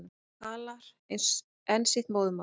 Talar enn sitt móðurmál.